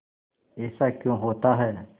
ऐसा क्यों होता है